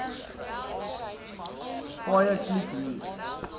paaie kliek hier